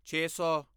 ਛੇ ਸੌ